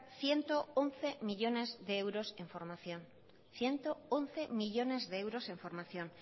ciento once millónes de euros en formación ciento once millónes de euros en formación